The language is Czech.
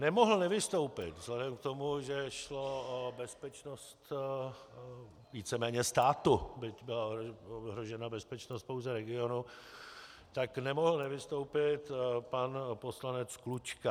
Nemohl nevystoupit vzhledem k tomu, že šlo o bezpečnost víceméně státu, byť byla ohrožena bezpečnost pouze regionu, tak nemohl nevystoupit pan poslanec Klučka.